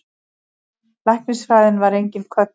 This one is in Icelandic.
Læknisfræðin var engin köllun.